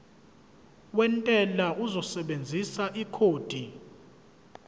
wentela uzosebenzisa ikhodi